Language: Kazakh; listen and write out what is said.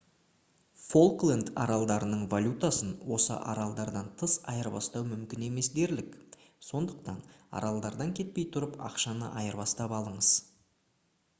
фолкленд аралдарының валютасын осы аралдардан тыс айырбастау мүмкін емес дерлік сондықтан аралдардан кетпей тұрып ақшаны айырбастап алыңыз